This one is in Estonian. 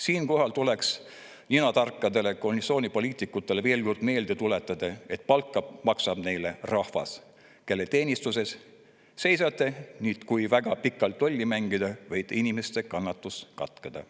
Siinkohal tuleks ninatarkadele koalitsioonipoliitikutele veel kord meelde tuletada, et palka maksab neile rahvas, kelle teenistuses nad seisavad, ning kui väga pikalt lolli mängida, võib inimeste kannatus katkeda.